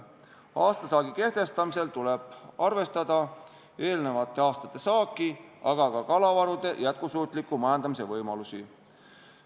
Aastasaagi kehtestamisel tuleb arvestada eelnevate aastate saaki, aga ka kalavarude jätkusuutliku majandamise võimalusi.